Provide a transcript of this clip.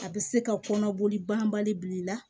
A bɛ se ka kɔnɔboli banbali bi la